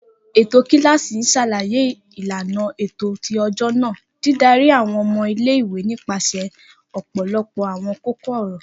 Eto kilasi n ṣalaye ilana ti ọjọ naa, didari àwọn ọmọ ile-iwe nipasẹ ọpọlọpọ àwọn kókó-ọ̀rọ̀.